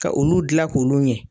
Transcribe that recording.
Ka olu gilan k'olu ɲɛ.